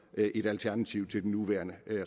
et alternativ til den nuværende